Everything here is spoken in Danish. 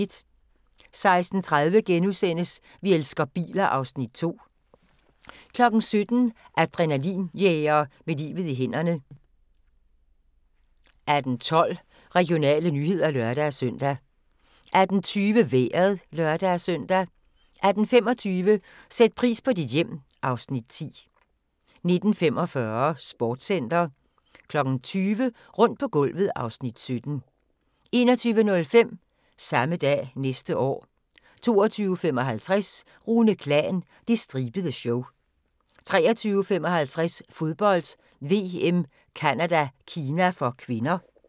16:30: Vi elsker biler (Afs. 2)* 17:00: Adrenalin-jæger med livet i hænderne 18:12: Regionale nyheder (lør-søn) 18:20: Vejret (lør-søn) 18:25: Sæt pris på dit hjem (Afs. 10) 19:45: Sportscenter 20:00: Rundt på gulvet (Afs. 17) 21:05: Samme dag næste år 22:55: Rune Klan – Det stribede show 23:55: Fodbold: VM - Canada-Kina (k)